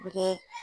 U bɛ kɛ